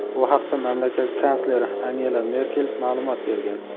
Bu haqda mamlakat kansleri Angela Merkel ma’lumot bergan.